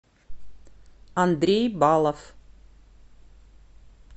андрей балов